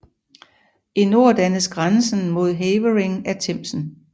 I nord dannes grænsen mod Havering af Themsen